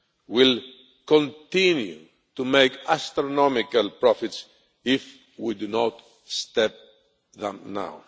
men will continue to make astronomical profits if we do not stop them now.